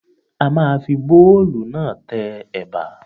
A ma fi bóòlù náà tẹ Ẹ̀bà.